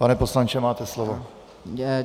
Pane poslanče, máte slovo.